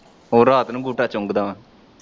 ਉਹ ਰਾਤ ਨੂੰ ਅੰਗੂਠਾ ਚੁੰਗਦਾ ਵਾ।